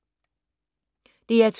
DR2